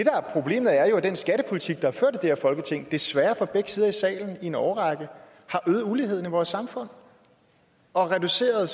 er problemet er jo at den skattepolitik der er her folketing desværre fra begge sider af salen i en årrække har øget uligheden i vores samfund og reduceret